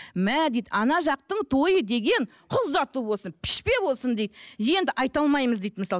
мә дейді ана жақтың тойы деген қыз ұзату болсын пішпе болсын дейді енді айта алмаймыз дейді мысалы